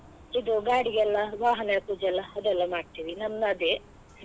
ಇದು ಗಾಡಿಗೆಲ್ಲ ವಾಹನ ಪೂಜೆ ಎಲ್ಲ ಅದೆಲ್ಲ ಮಾಡ್ತಿವಿ ನಮ್ಮದೇ.